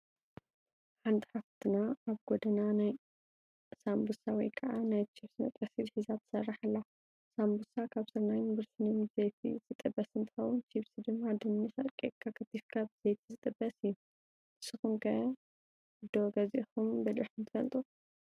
ሓንቲ ሓፍትና ኣብ ጎዳና ናይ ሳንቦሳ ወይ ከዓ ናይ ቺብስ መጥበሲት ሒዛ ትሰርሕ ኣላ፡፡ ሳንቦሳ ካብ ስርናይን ብርስንን ብዘይቲ ዝጥበስ እንትኸውን ቺብስ ድማ ድንሽ ኣርቂቕካ ከቲፍካ ብዘይቲ ዝጥበስ እዩ፡፡ ንስኹም ከ ዶ ገዚእኹም በሊዕኹም ትፈልጡ?